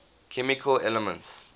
chemical elements